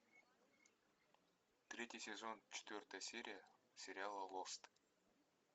третий сезон четвертая серия сериала лост